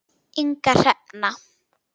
Inga Hrefna.